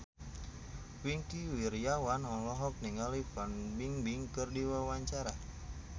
Wingky Wiryawan olohok ningali Fan Bingbing keur diwawancara